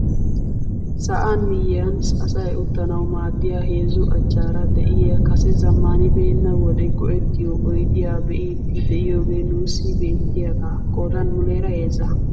Sa'an miyiyaan asay uttanawu maaddiyaa heezzu achchaara de'iyaa kase zammaanibenna wode go"ettiyoo oydiyaa be'idi de'iyoogee nuussi beettiyaage qoodan muleera heezza.